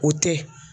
O tɛ